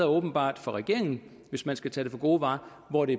åbenbart for regeringen hvis man skal tage det for gode varer hvor det